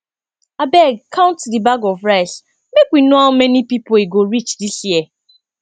abeg count the bags of rice make we no how many people e go reach dis year